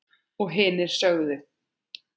Og hinir sögðu: